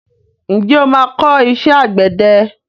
Ǹjẹ́ o máa kọ́ iṣẹ́ àgbẹ̀dẹ?